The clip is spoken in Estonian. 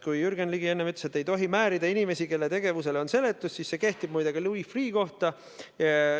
Kui Jürgen Ligi enne ütles, et ei tohi määrida inimesi, kelle tegevusele on seletus olemas, siis see kehtib ka Louis Freeh' kohta.